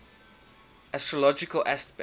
astrological aspects